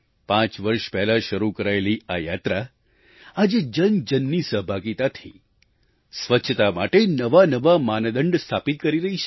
પાંચ વર્ષ પહેલાં શરૂ કરાયેલી આ યાત્રા આજે જનજનની સહભાગિતાથી સ્વચ્છતા માટે નવાનવા માનદંડ સ્થાપિત કરી રહી છે